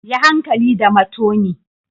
Yi hankali da matoni.